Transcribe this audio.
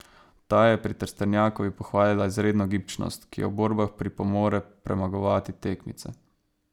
Ta je pri Trstenjakovi pohvalila izredno gibčnost, ki ji v borbah pripomore premagovati tekmice.